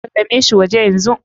Salame shi waje yanzu.